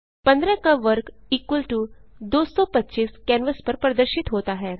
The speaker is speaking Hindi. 15 का वर्ग 225 कैनवास पर प्रदर्शित होता है